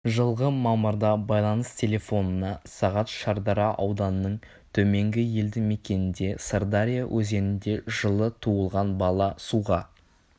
жылғы мамырда байланыс телефонына сағат шардара ауданының төменгі елді мекенінде сырдария өзенінде жылы туылған бала суға